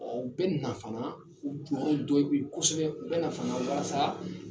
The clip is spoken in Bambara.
U bɛ nin na fana u jɔyɔrɔ dɔyi beyi kosɛbɛ u bɛ na fana walasa